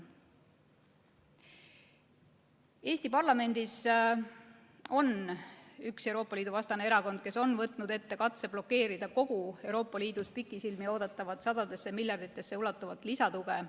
Eesti parlamendis on üks Euroopa Liidu vastane erakond, kes on võtnud ette katse blokeerida kogu Euroopa Liidus pikisilmi oodatavat sadadesse miljarditesse ulatuvat lisatuge.